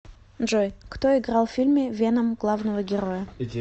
джой кто играл в фильме веном главного героя